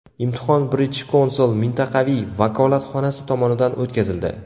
Imtihon British Counsil mintaqaviy vakolatxonasi tomonidan o‘tkazildi.